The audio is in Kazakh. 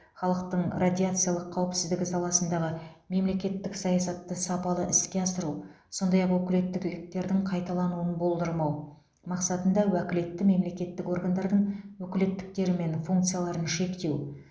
халықтың радиациялық қауіпсіздігі саласындағы мемлекеттік саясатты сапалы іске асыру сондай ақ өкілеттіктердің қайталануын болдырмау мақсатында уәкілетті мемлекеттік органдардың өкілеттіктері мен функцияларын шектеу